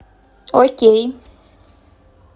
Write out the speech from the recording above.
окей